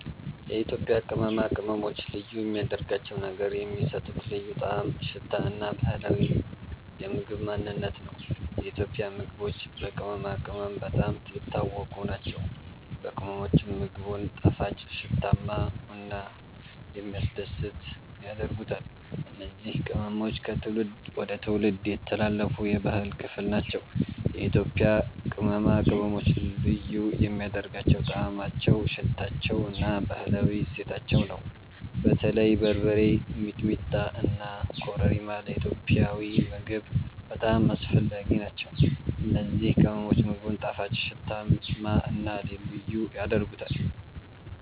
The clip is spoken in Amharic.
የኢትዮጵያ ቅመማ ቅመሞች ልዩ የሚያደርጋቸው ነገር የሚሰጡት ልዩ ጣዕም፣ ሽታ እና ባህላዊ የምግብ ማንነት ነው። የኢትዮጵያ ምግቦች በቅመማ ቅመም በጣም የታወቁ ናቸው፤ ቅመሞቹም ምግቡን ጣፋጭ፣ ሽታማ እና የሚያስደስት ያደርጉታል። እነዚህ ቅመሞች ከትውልድ ወደ ትውልድ የተላለፉ የባህል ክፍል ናቸው። የኢትዮጵያ ቅመማ ቅመሞች ልዩ የሚያደርጋቸው ጣዕማቸው፣ ሽታቸው እና ባህላዊ እሴታቸው ነው። በተለይ በርበሬ፣ ሚጥሚጣ እና ኮረሪማ ለኢትዮጵያዊ ምግብ በጣም አስፈላጊ ናቸው። እነዚህ ቅመሞች ምግቡን ጣፋጭ፣ ሽታማ እና ልዩ ያደርጉታል።